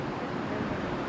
Aha, bu da normaldır.